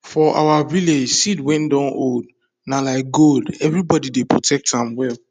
for our village seed wey don old na like gold everybody dey protect am well